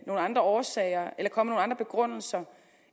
nogle andre årsager eller komme andre begrundelser